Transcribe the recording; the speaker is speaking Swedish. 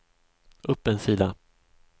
upp en sida